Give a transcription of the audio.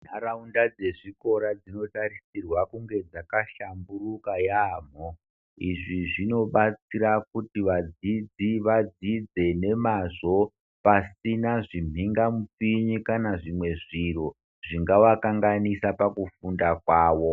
Ndaraunda dzezvikora dzinoda kusisirwa kunge dzakahlamburuka yaambo ,izvi zvinobatsira kuti vadzidzi vadzidze nemazvo pasina zviningamupinyi kana zvimwe zviro zvingavakanganisa pakufunda kwavo.